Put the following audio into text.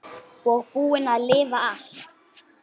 Ég skellti á hann.